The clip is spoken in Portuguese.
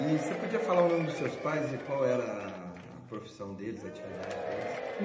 E você podia falar o nome dos seus pais e qual era a a profissão deles, a atividade deles?